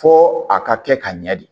Fo a ka kɛ ka ɲɛ de